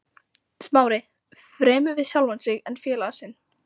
Smári, fremur við sjálfan sig en félaga sinn.